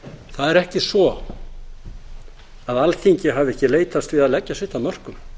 það er ekki svo alþingi hafi ekki leitast við að leggja sitt af mörkum